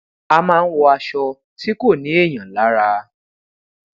a ma n wọ aṣọ ti ko ni èèyàn lara